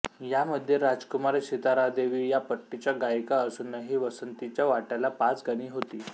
यामध्ये राजकुमारी सितारादेवी या पट्टीच्या गायिका असूनही वासंतीच्या वाट्याला पाच गाणी होती